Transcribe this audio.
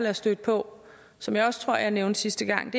er stødt på som jeg også tror jeg nævnte sidste gang